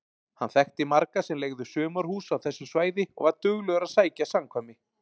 Hann þekkti marga sem leigðu sumarhús á þessu svæði og var duglegur að sækja samkvæmi.